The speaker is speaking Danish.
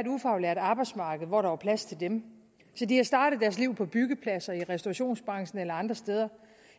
et ufaglært arbejdsmarked hvor der var plads til dem så de er startet deres liv på byggepladser i restaurationsbranchen eller andre steder